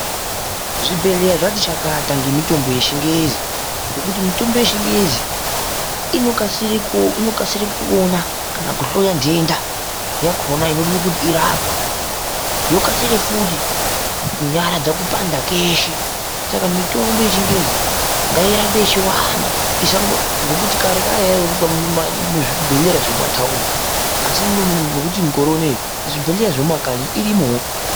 Zvibhedhleya zvati chakata ngemitombo yechingezi ngekuti mitombo yechingezi inokasire kupona ukada kuhloya nhenda yakhona inoda kuti irapwe yokasire futi kunyaradza kupanda kweshe saka mitombo yechingezi ngairambe yechiwanda ngokuti kare kwai yaindoonekwa muzvibhedhlera zvemumataundi asi mukore unou nezvibhedhlera zvemumakanyi irimwoo.